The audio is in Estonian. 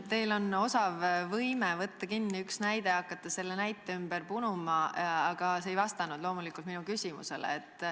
Teil on suurepärane võime võtta üks näide ja hakata selle ümber midagi punuma, aga te ei vastanud loomulikult minu küsimusele.